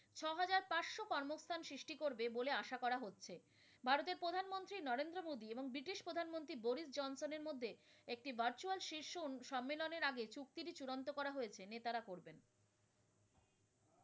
পাঁচ শ কর্মস্থান সৃষ্টি করবে বলে আশা করা হচ্ছে। ভারতের প্রধান মন্ত্রী নরেন্দ্র মোদী এবং ব্রিটিশ প্রধান মন্ত্রী Boris Johnson এর মধ্যে একটি virtual শীর্ষ সম্মেলনের আগে চুক্তি টি চূড়ান্ত করা হয়েছে। নেতারা করবেন।